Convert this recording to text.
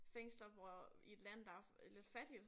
Fænglser hvor i et land der er lidt fattigt